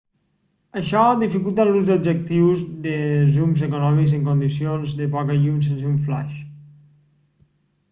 això dificulta l'ús d'objectius de zoom econòmics en condicions de poca llum sense un flaix